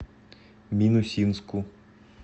минусинску